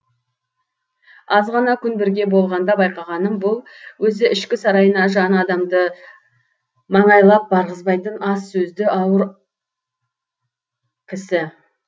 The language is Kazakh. аз ғана күн бірге болғанда байқағаным бұл өзі ішкі сарайына жан адамды маңайлап барғызбайтын аз сөзді аузы ауыр кісі